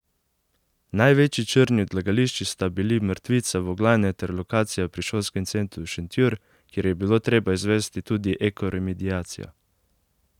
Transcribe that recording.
Največji črni odlagališči sta bili mrtvica Voglajne ter lokacija pri Šolskem centru Šentjur, kjer je bilo treba izvesti tudi ekoremediacijo.